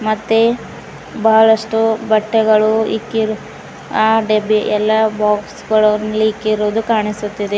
ಮತ್ತೆ ಬಹಳಷ್ಟು ಬಟ್ಟೆಗಳು ಇಕ್ಕಿರಿ ಆ ಡೆಬ್ಬಿ ಎಲ್ಲಾ ಬಾಕ್ಸ್ ಗಳನ್ನು ಇಲ್ಲಿ ಇಕ್ಕಿರುವುದು ಕಾಣಿಸುತ್ತಿದೆ.